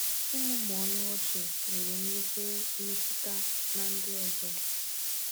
Ịmụmụ ọnụ ọchị nwere nnukwu mmetụta na ndị ọzọ.